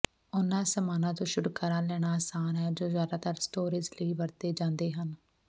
ਉਨ੍ਹਾਂ ਸਾਮਾਨਾਂ ਤੋਂ ਛੁਟਕਾਰਾ ਲੈਣਾ ਆਸਾਨ ਹੈ ਜੋ ਜਿਆਦਾਤਰ ਸਟੋਰੇਜ ਲਈ ਵਰਤੇ ਜਾਂਦੇ ਹਨ